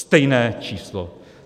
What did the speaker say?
Stejné číslo.